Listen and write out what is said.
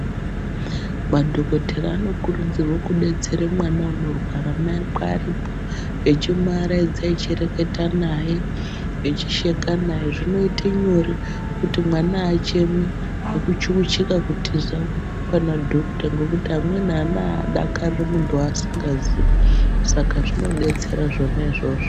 Madhokotera anokurudzirwe kudetsere mwana unorwara mai akwe aripo echimuaraidza eireketa naye, echisheka naye. Zvinoite nyore kuti mwana haachemi nekuchukuchika kutiza pana dhokuta ngokuti amweni ana ahadakariri muntu weasingazii. Saka zvinodetsera zvona izvozvo.